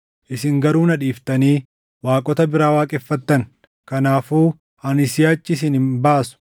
Isin garuu na dhiiftanii waaqota biraa waaqeffattan; kanaafuu ani siʼachi isin hin baasu.